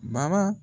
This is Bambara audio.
Bara